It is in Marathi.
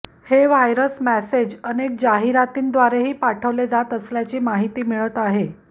हे व्हायरस मेसेज अनेक जाहिरातींद्वारेही पाठवले जात असल्याची माहिती मिळत आहे